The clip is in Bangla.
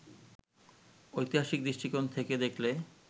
ঐতিহাসিক দৃষ্টিকোণ থেকে দেখলে